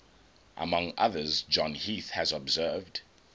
among others john heath has observed